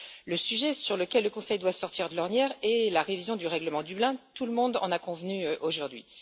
Le sujet sur lequel le Conseil doit sortir de l'ornière est la révision du règlement Dublin, tout le monde en a convenu aujourd'hui.